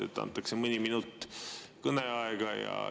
Antakse mõni minut kõneaega.